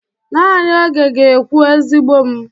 Nanị oge ga-ekwu, ezigbo m.